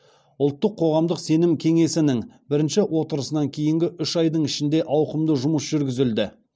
ұлттық қоғамдық сенім кеңесінің бірінші отырысынан кейінгі үш айдың ішінде ауқымды жұмыс жүргізілді